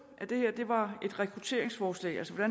at det her var rekrutteringsforslag altså